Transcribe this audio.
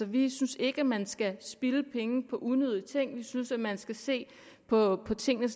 vi synes ikke man skal spilde penge på unødige ting vi synes man skal se på tingene